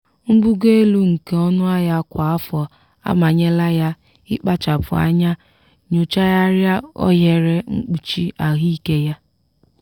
mbugo elu nke ọnụahịa kwa afọ amanyela ya ịkpachapụ anya nyochagharịa ohere mkpuchi ahụike ya.